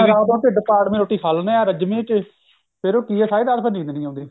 ਆਪਾਂ ਢਿੱਡ ਪਾੜਵੀਂ ਰੋਟੀ ਖਾ ਲੇਣੇ ਆ ਰੱਜਵੀਂ ਫੇਰ ਉਹ ਕਿ ਐ ਸਾਰੀ ਰਾਤ ਨੀਂਦ ਨਹੀਂ ਆਉਂਦੀ